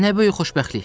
Nə böyük xoşbəxtlik!